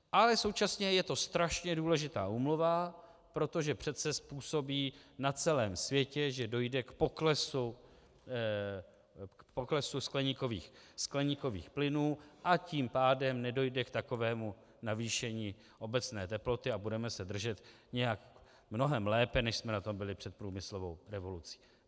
Ale současně je to strašně důležitá úmluva, protože přece způsobí na celém světě, že dojde k poklesu skleníkových plynů, a tím pádem nedojde k takovému navýšení obecné teploty a budeme se držet nějak mnohem lépe, než jsme na tom byli před průmyslovou revolucí.